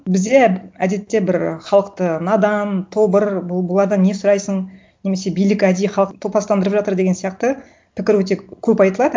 бізде әдетте бір і халықты надан тобыр бұлардан не сұрайсын немесе билік әдейі халықты топастандырып жатыр деген сияқты пікір өте көп айтылады